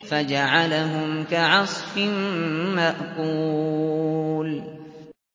فَجَعَلَهُمْ كَعَصْفٍ مَّأْكُولٍ